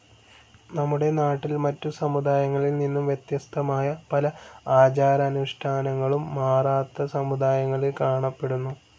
നമ്മുടെ നാട്ടിൽ മറ്റു സമുദായങ്ങളിൽ നിന്നും വ്യത്യസ്തമായ പല ആചാരാനുഷ്ഠാനങ്ങളും മറാത്താ സമുദായങ്ങളിൽ കാണപ്പെടുന്നു.